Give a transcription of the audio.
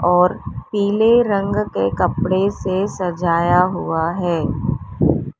और पीले रंग के कपड़े से सजाया हुआ है।